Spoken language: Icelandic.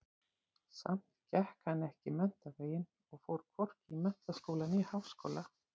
Samt gekk hann ekki menntaveginn og fór hvorki í menntaskóla né háskóla.